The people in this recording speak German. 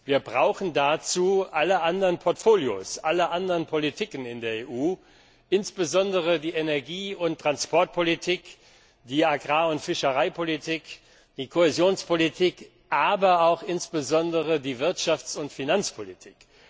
Wir brauchen dazu alle anderen Portfolios, alle anderen Politiken in der EU, insbesondere die Energie und Verkehrspolitik, die Agrar und Fischereipolitik, die Kohäsionspolitik, aber insbesondere auch die Wirtschafts und Finanzpolitik.